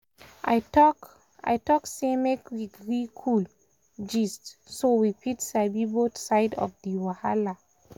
i talk i talk say make we gree cool gist so we fit sabi both side of di wahala.